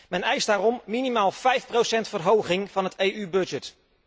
Men eist daarom minimaal vijf procent verhoging van het EU budget.